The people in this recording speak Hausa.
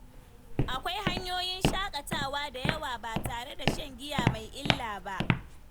Akwai hanyoyin shakatawa da yawa ba tare da shan giya mai illa ba.